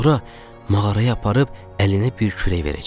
Sonra mağaraya aparıb əlinə bir kürək verəcəyik.